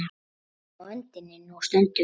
Á öndinni nú stöndum við.